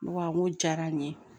Ne ko awɔ n ko diyara n ye